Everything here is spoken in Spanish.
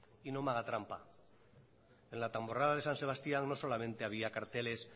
y no me haga trampa en la tamborrada de san sebastián no solamente había carteles